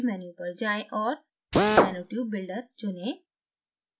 build menu पर जाएँ और nanotube builder चुनें